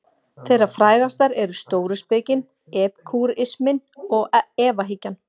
Þeirra frægastar eru stóuspekin, epikúrisminn og efahyggjan.